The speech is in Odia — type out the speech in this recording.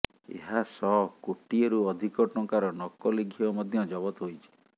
ଏହାସହ କୋଟିଏରୁ ଅଧିକ ଟଙ୍କାର ନକଲି ଘିଅ ମଧ୍ୟ ଜବତ ହୋଇଛି